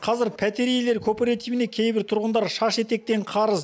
қазір пәтер иелер кооперативіне кейбір тұрғындар шаш етектен қарыз